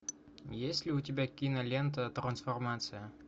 есть ли у тебя кинолента трансформация